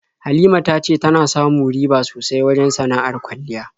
Halima ta ce tana samu riba sosai wajen sana'ar kwalliya.